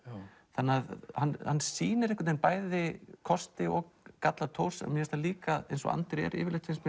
þannig að hann sýnir bæði kosti og galla Thors mér finnst hann líka eins og Andri er yfirleitt finnst